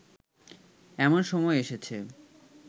এমন সময় এসেছে